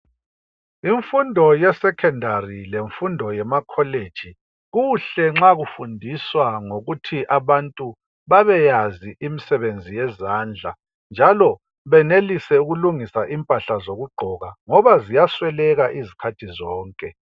Imfundo yesekhendari lemfundo yemakholeji, kuhle nxa kufundiswa ngokuthi abantu babeyazi imisebenzi yezandla njalo benelise ukulungisa impahla zokugqoka ngoba ziyasweleka izikhathi zonke.